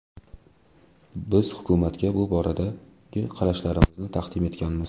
Biz hukumatga bu boradagi qarashlarimizni taqdim etganmiz.